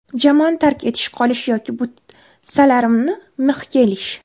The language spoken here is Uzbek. Jamoani tark etish, qolish yoki butsalarimni mixga ilish.